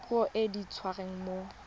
puo e e dirisiwang mo